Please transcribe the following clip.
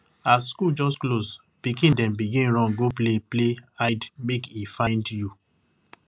as school just close pikin dem begin run go play play hidemakeifindyou